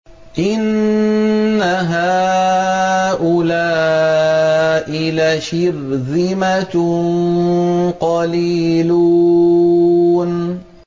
إِنَّ هَٰؤُلَاءِ لَشِرْذِمَةٌ قَلِيلُونَ